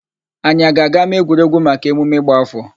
Anyị a ga aga n'ámáegwuregwu maka emume ịgba áfọ̀?